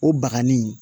O baga ni